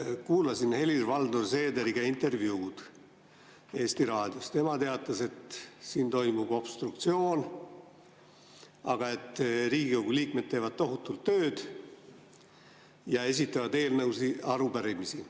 Kuulasin Helir-Valdor Seederi intervjuud Eesti Raadios, tema teatas, et siin toimub obstruktsioon, aga Riigikogu liikmed teevad tohutult tööd ja esitavad eelnõusid ja arupärimisi.